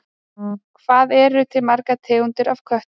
Hvað eru til margar tegundir af köttum?